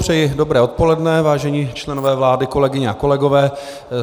Přeji dobré odpoledne, vážení členové vlády, kolegyně a kolegové.